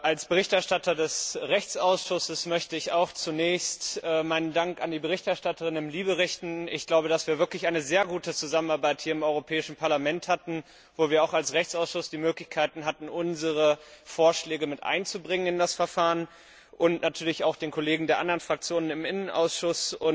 Als Berichterstatter des Rechtsausschusses möchte ich auch zunächst meinen Dank an die Berichterstatterin im LIBE Ausschuss richten ich glaube, dass wir wirklich eine sehr gute Zusammenarbeit hier im Europäischen Parlament hatten, wo wir auch als Rechtsausschuss die Möglichkeit hatten, unsere Vorschläge in das Verfahren mit einzubringen und natürlich auch an die Kollegen der anderen Fraktionen im LIBE Ausschuss.